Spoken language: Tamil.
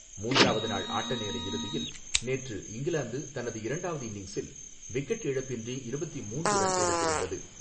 மூன்றாவது நாள் ஆட்டநேர இறுதியில், நேற்று இங்கிலாந்து, தனது இரண்டாவது இன்னிங்ஸில் விக்கெட் இழப்பின்றி இருபத்தி மூன்று ரன் எடுத்திருந்தது.